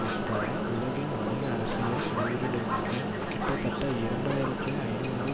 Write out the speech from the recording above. உட்பட உலகின் வணிக அரசியல் உயரடுக்கின் கிட்டத்தட்ட இரண்டு ஆயிரத்தி ஐநூறு